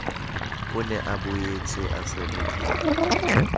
o ne a boetseatshwerwe ke